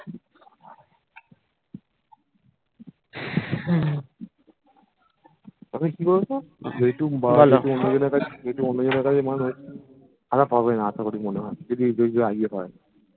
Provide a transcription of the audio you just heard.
তবে কি বলতো যেইটুক যেহেতু অন্যজনের কাছে মানুষ, খারাপ হবেনা আশা করি মনে হয় যদি যদি রাজি হয়